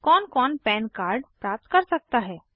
कौन कौन PAN card प्राप्त कर सकता है160